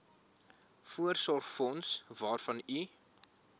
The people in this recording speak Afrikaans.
voorsorgsfonds waarvan u